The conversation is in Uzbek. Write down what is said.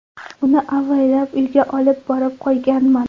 Uni avaylab uyga olib borib qo‘yganman.